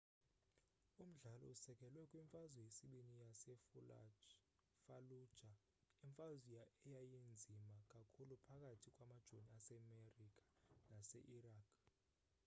umdlalo usekelwe kwimfazwe yesibini yasefallujah imfazwe eyayinzima kakhulu phakathi kwamajoni asemerika nase-iraq